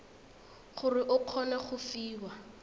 gore o kgone go fiwa